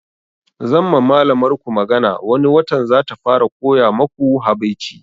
Zan ma malamar ku magana wani watan zata fara koya maku habaici